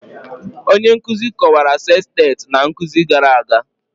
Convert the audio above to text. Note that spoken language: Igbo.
Onye nkuzi kọwara sestet na nkuzi gara aga